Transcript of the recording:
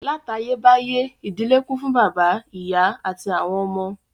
Látayébáyé, ìdílé kún fún bàbá, ìyá àti àwọn ọmọ